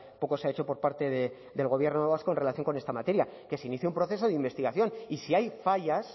poco se ha hecho por parte del gobierno vasco en relación con esta materia que se inicie un proceso de investigación y si hay fallas